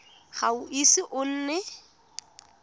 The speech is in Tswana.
ga o ise o nne